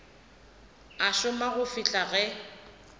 a šoma go fihla ge